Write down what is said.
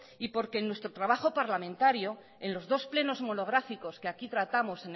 y porque en nuestro trabajo parlamentario en los dos plenos monográficos que aquí tratamos